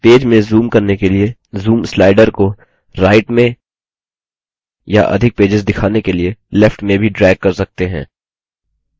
हम पेज में zoom करने के लिए zoom slider को right में या अधिक पेजेस दिखाने के लिए left में भी drag कर सकते हैं